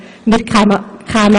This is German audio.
Wir kämen an kein Ende!